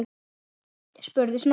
spurði Snorri.